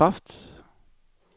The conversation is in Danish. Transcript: bekræft